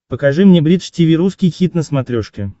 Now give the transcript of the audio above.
покажи мне бридж тиви русский хит на смотрешке